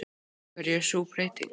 Af hverju er sú breyting?